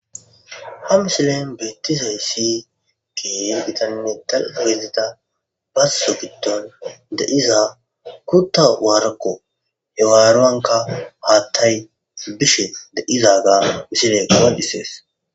Ha misilen beeththizayssi keehi githanne dalgga gidida bazzo giddon de7iza kuththa waarakko; he waaruwankka haaththay bishe de7izagaa misilee qonccissees.